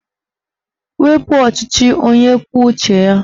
Wepu ọchịchị onye kwuo uche ya!